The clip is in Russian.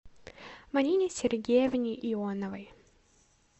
марине сергеевне ионовой